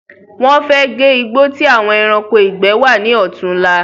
Wọ́n fẹ́ gé igbó ti àwọn ẹranko ìgbẹ́ wa ni ọ̀tún la